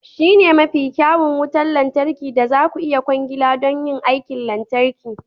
Shi ne mafi kyawun wutar lantarki da za ku iya kwangila don aikin lantarki.